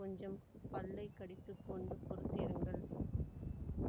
கொஞ்சம் பல்லை கடித்துக்கொண்டு பொறுத்திருங்கள்